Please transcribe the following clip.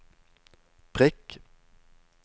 prikk